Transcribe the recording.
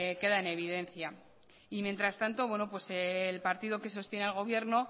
queda en evidencia y mientras tanto el partido que sostiene al gobierno